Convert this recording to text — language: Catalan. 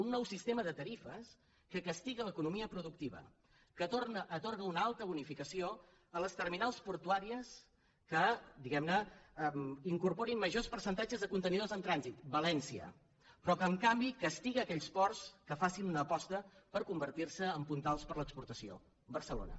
un nou sistema de tarifes que castiga l’economia productiva que atorga una alta bonificació a les terminals portuàries que diguem ne incorporin majors percentatges de contenidors en trànsit valència però que en canvi castiga aquells ports que facin una aposta per convertir en puntals per a l’exportació barcelona